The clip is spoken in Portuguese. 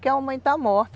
Que a mamãe está morta.